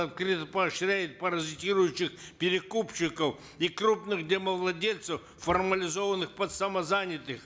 открыто поощряет паразитирующих перекупщиков и крупных домовладельцев формализованных под самозанятых